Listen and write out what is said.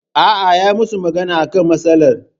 Aa, yayi musu magana akan matsalar